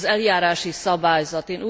Az eljárási szabályzat.